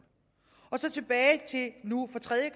så tilbage til nu for tredje